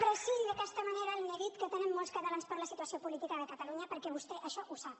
preï d’aquesta manera el neguit que tenen molts catalans per la situació política de catalunya perquè vostè això ho sap